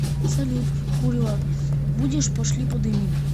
салют курево будешь пошли подымим